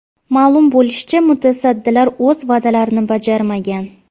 Ma’lum bo‘lishicha, mutasaddilar o‘z va’dalarini bajarmagan.